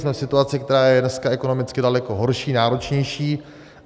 Jsme v situaci, která je dneska ekonomicky daleko horší, náročnější.